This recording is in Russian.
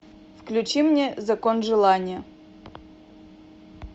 включи мне закон желания